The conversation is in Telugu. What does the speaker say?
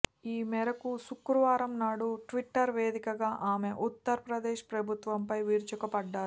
ఈ మేరకు శుక్రవారం నాడు ట్విట్టర్ వేదికగా ఆమె ఉత్తర్ ప్రదేశ్ ప్రభుత్వంపై విరుచుకుపడ్డారు